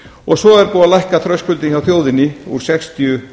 og svo er búið að lækka þröskuldinn hjá þjóðinni úr sextíu